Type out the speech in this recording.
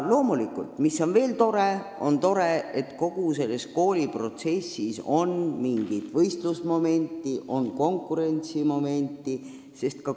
Loomulikult, veel on tore, et kogu selles kooliprotsessis on mingit võistlusmomenti, konkurentsimomenti.